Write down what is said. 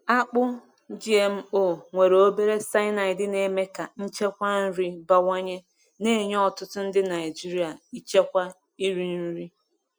Akpụ GMO nwere obere cyanide na-eme ka nchekwa nri bawanye, na-enye ọtụtụ ndị Naijiria nchekwa iri nri.